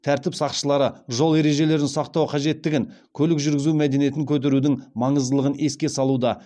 тәртіп сақшылары жол ережелерін сақтау қажеттігін көлік жүргізу мәдениетін көтерудің маңыздылығын еске салуда